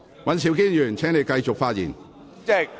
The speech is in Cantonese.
尹兆堅議員，請繼續發言。